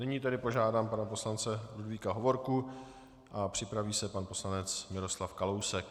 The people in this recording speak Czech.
Nyní tedy požádám pana poslance Ludvíka Hovorku a připraví se pan poslanec Miroslav Kalousek.